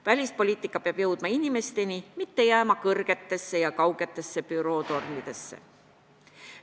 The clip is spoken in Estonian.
Välispoliitika peab jõudma inimesteni, see ei tohi jääda kõrgetesse ja kaugetesse bürootornidesse.